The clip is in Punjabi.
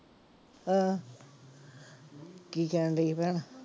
ਹਾਂ ਕੀ ਕਹਿੰਦੀ ਸੀ ਭੈਣ।